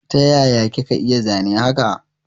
Taya kika iya zane haka?